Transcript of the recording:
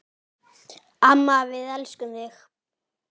Amma, við elskum þig.